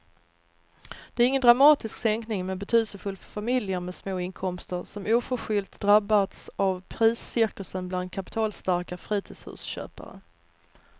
Det är ingen dramatisk sänkning men betydelsefull för familjer med små inkomster som oförskyllt drabbats av priscirkusen bland kapitalstarka fritidshusköpare.